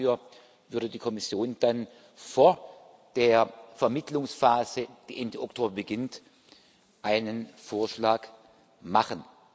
Dafür würde die Kommission dann vor der Vermittlungsphase, die Ende Oktober beginnt, einen Vorschlag machen.